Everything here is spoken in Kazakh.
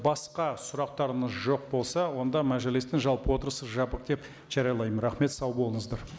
басқа сұрақтарыңыз жоқ болса онда мәжілістің жалпы отырысы жабық деп жариялаймын рахмет сау болыңыздар